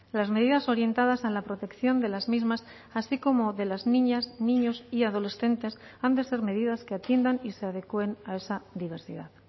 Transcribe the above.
las medidas orientadas a la protección de las mismas así como de las niñas niños y adolescentes han de ser medidas que atiendan y se adecuen a esa diversidad